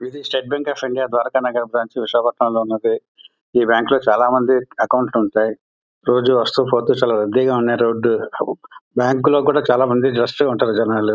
ఇది state bank of India Dwaraka Nagaram branch Visakhapatnam లో ఉన్నది. బ్యాంకు లో చాలా మందికి అకౌంట్ ఉంటాయి. రోజు వస్తూ పోతు చాలా రద్దీగా ఉన్నాయి రోడ్ . బ్యాంకు లో కూడా చాలా మంది రష్ గా ఉంటారు జనాలు.